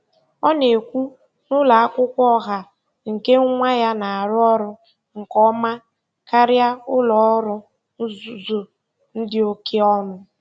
Ọ na-ekwu na ụlọ akwụkwọ ọha nke nwa ya na-arụ ọrụ nke ọma karịa ụlọ ọrụ nzuzo dị oke ọnụ.